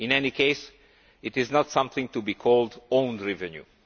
In any case, it is not something to be called own revenue'.